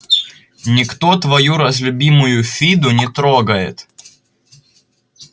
никто твою разлюбимую фиду не трогает